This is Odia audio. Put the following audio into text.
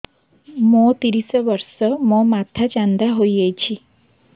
ମୋ ତିରିଶ ବର୍ଷ ମୋ ମୋଥା ଚାନ୍ଦା ହଇଯାଇଛି